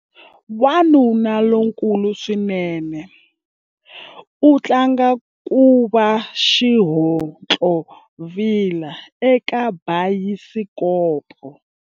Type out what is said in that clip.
Wanuna lonkulu swinene u tlanga ku va xihontlovila eka bayisikopo.